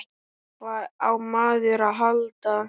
Hvað á maður að halda?